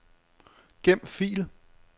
Gem fil.